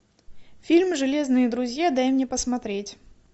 фильм железные друзья дай мне посмотреть